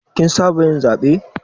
Kin saba yin zaɓe.